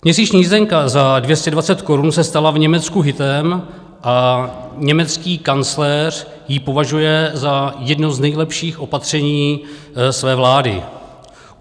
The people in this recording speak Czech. Měsíční jízdenka za 220 korun se stala v Německu hitem a německý kancléř ji považuje za jedno z nejlepších opatření své vlády.